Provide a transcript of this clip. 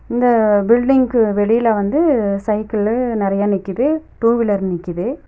இந்த பில்டிங்க்கு வெளியில வந்து சைக்கிளு நெறைய நிக்குது டூ வீலர் நிக்குது.